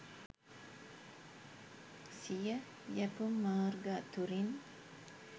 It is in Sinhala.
සිය යැපුම් මාර්ග අතුරින්